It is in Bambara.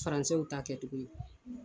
Faransɛw ta kɛ cogo.